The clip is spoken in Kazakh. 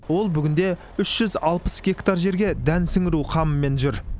ол қазір үш жүз алпыс гектар жерге дән сіңіру қамымен жүр